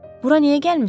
Bura niyə gəlmisən?